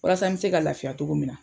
Walasa me se ka lafiya cogo min na.